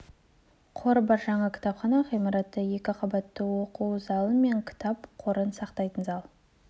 қоры бар жаңа кітапхана ғимараты екі қабатты үш оқу залы мен кітап қорын сақтайтын зал